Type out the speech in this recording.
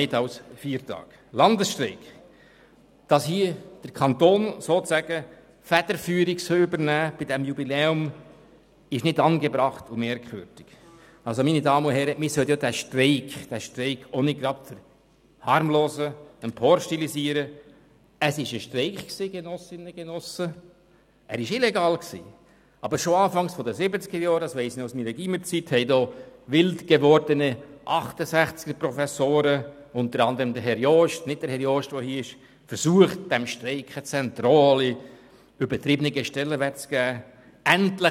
Aber schon Anfang der 1970er-Jahre, das weiss ich noch aus meiner Gymnasialzeit, hatten wildgewordene 68er-Professoren, unter anderem Herr Jost – nicht der Herr Jost, der hier im Saal ist –, versucht, diesem Streik einen zentralen, übertriebenen Stellenwert zu geben.